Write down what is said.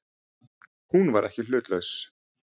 Hún var ekki hlutlaus.